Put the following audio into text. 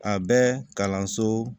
A bɛ kalanso